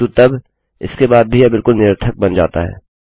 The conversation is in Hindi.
किन्तु तब इसके बाद भीयह बिलकुल निरर्थक बन जाता है